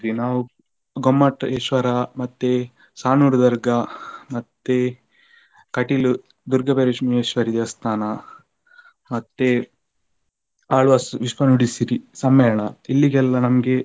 ನಾವು ಗೊಮ್ಮಟೇಶ್ವರ ಮತ್ತೆ ಸಾಣೂರು ದರ್ಗಾ ಮತ್ತೆ Kateel ದುರ್ಗಾಪರಮೇಶ್ವರಿ ದೇವಸ್ಥಾನ ಮತ್ತೆ ಆಳ್ವಾಸ್ ವಿಶ್ವ ನುಡಿಸಿರಿ ಸಮ್ಮೇಳನ ಇಲ್ಲಿಗೆಲ್ಲ ನಮಗೆ